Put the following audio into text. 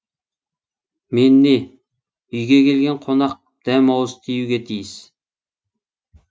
мен не үйге келген қонақ дәм ауыз тиюге тиіс